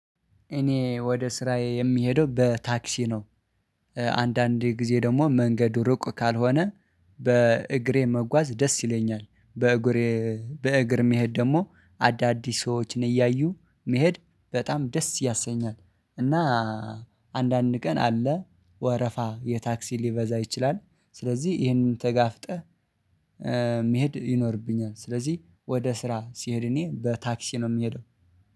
እኔ ወደ ስራዬ የሚሄደው በታክሲ ነው። አንዳንዴ ጊዜ ደግሞ መንገዱ ርቁ ካልሆነ በእግሬ መጓዝ ደስ ይለኛል። በእግሬ በእግር መሄድ ደግሞ አዳዲስ ሰዎችን እያዩ መሄድ በጣም ደስ ያሰኛል። እና አንዳንድ ቀን አለ ወረፋ የታክሲ ሊበዛ ይችላል። ስለዚህ ይሄንን ተጋፍጠህ መሄድ ይኖርብኛል። ስለዚህ ወደ ስራ ስሄድ እኔ በታክሲ ነው የምሄደው